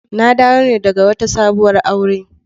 Na dawo ne daga wata sabuwar aure.